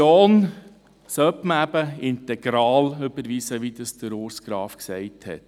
Die Motion sollte man eben integral überweisen, wie es Urs Graf gesagt hat.